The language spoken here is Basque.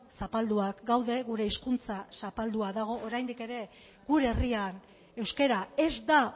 zapalduak gaude gure hizkuntza zapaldua dago oraindik ere gure herrian euskara ez da